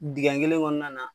Dingɛ kelen kɔnɔna na